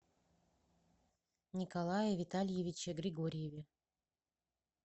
николае витальевиче григорьеве